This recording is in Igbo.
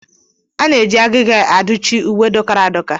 A na-eji agịga aduchi uwe dọkara adọka.